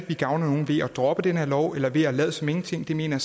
vi gavner nogen ved at droppe den her lov eller ved at lade som ingenting det mener